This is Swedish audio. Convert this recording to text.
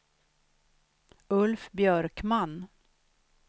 Ulf Björkman